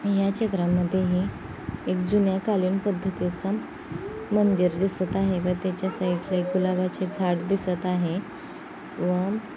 या चित्रा मधे हे एक जुन्या कालीन पद्धतिचा मंदिर दिसत आहे व त्याच्या साइड एक गुलाबाचे झाड दिसत आहे. व --